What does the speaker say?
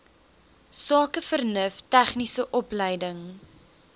sakevernuf tegniese opleiding